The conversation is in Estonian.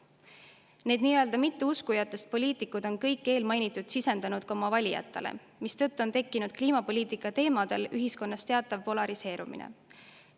Need nii-öelda mitteuskujatest poliitikud on kõike eelmainitut sisendanud ka oma valijatele, mistõttu on kliimapoliitika teemadel tekkinud ühiskonnas teatav polariseerumine.